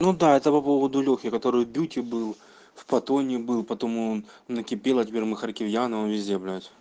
ну да это по поводу лёхи который в бюти был в патоне был потом он накипело теперь махакирьянова везде блядь